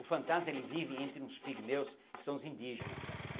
O fantasma, ele vive entre uns pigmeus, que são os indígena.